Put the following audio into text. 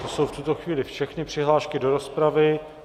To jsou v tuto chvíli všechny přihlášky do rozpravy.